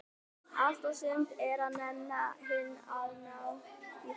Allt og sumt er að nenna inn að ná í það.